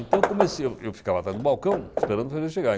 Então, comece eu ficava a atrás do balcão, esperando os fregueses chegarem